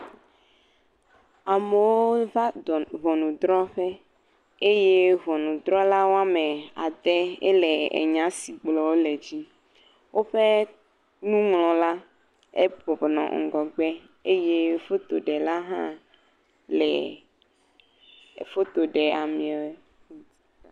Amewo va ŋɔnudrɔƒe eye ŋɔnudrɔla woame ade ye le enya si gblɔ wole la dzi. Woƒe nuŋlɔla ebɔbɔ nɔ ŋgɔgbe eye fotoɖela hã le foto ɖe ameewɔe.